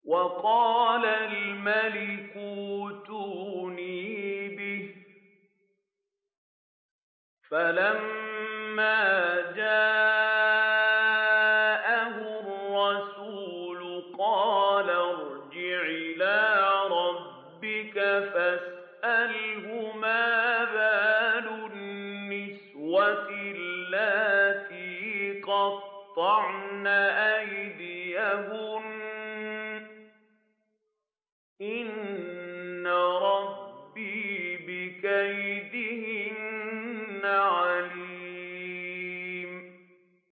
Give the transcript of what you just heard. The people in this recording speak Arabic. وَقَالَ الْمَلِكُ ائْتُونِي بِهِ ۖ فَلَمَّا جَاءَهُ الرَّسُولُ قَالَ ارْجِعْ إِلَىٰ رَبِّكَ فَاسْأَلْهُ مَا بَالُ النِّسْوَةِ اللَّاتِي قَطَّعْنَ أَيْدِيَهُنَّ ۚ إِنَّ رَبِّي بِكَيْدِهِنَّ عَلِيمٌ